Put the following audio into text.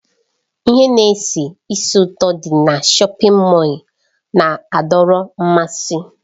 Ihe na-esi ísì ụtọ dị na shọpin Mọll na-adọrọ mmasị.